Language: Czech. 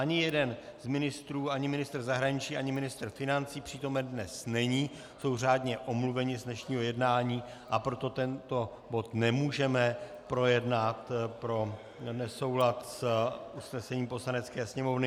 Ani jeden z ministrů, ani ministr zahraničí ani ministr financí, přítomen dnes není, jsou řádně omluveni z dnešního jednání, a proto tento bod nemůžeme projednat pro nesoulad s usnesením Poslanecké sněmovny.